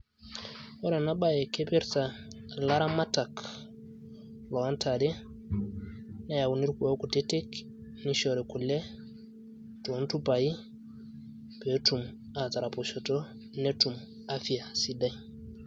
Ore ena bae kipirta ilaramatak, loontare, neyauni irkuoon kutitik, nishori kule toontupai, peetum ataraposhoto, netum afya sidai.